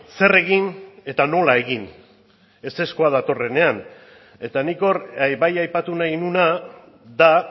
zer egin eta nola egin ezezkoa datorrenean eta nik hor bai aipatu nahi nuena da